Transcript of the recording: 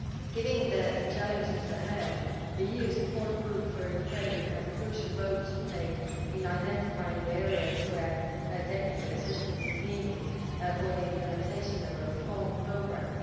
Given the challenges ahead, the EU Support Group for Ukraine has a crucial role to play in identifying the areas where technical assistance is needed for the implementation of a reform programme.